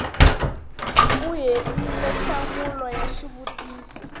u hetile nhlamulo ya xivutiso